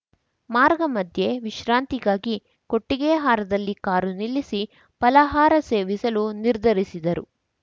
ಮಾರ್ಗ ಮಧ್ಯೆ ವಿಶ್ರಾಂತಿಗಾಗಿ ಕೊಟ್ಟಿಗೆಹಾರದಲ್ಲಿ ಕಾರು ನಿಲ್ಲಿಸಿ ಫಲಹಾರ ಸೇವಿಸಲು ನಿರ್ಧರಿಸಿದರು